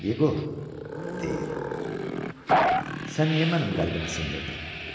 Yeqor, deyir, sən niyə mənim qəlbimi sındırdın?